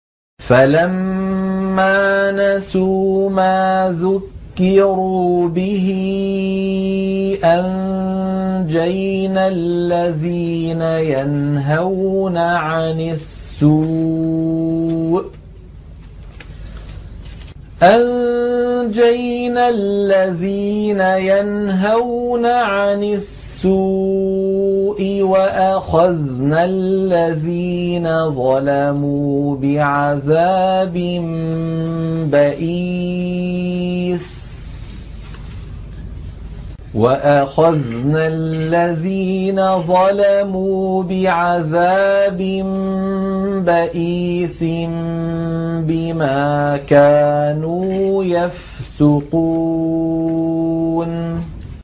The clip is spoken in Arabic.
فَلَمَّا نَسُوا مَا ذُكِّرُوا بِهِ أَنجَيْنَا الَّذِينَ يَنْهَوْنَ عَنِ السُّوءِ وَأَخَذْنَا الَّذِينَ ظَلَمُوا بِعَذَابٍ بَئِيسٍ بِمَا كَانُوا يَفْسُقُونَ